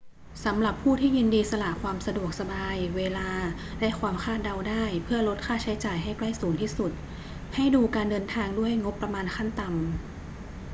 สำหรับผู้ที่ยินดีสละความสะดวกสบาย เวลา และความคาดเดาได้เพื่อลดค่าใช้จ่ายให้ใกล้ศูนย์ที่สุด ให้ดูการเดินทางด้วยงบประมาณขั้นต่ำ